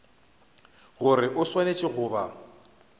gore o swanetše go ba